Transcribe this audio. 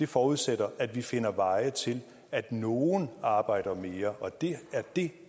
forudsætter at vi finder veje til at nogle arbejder mere det er det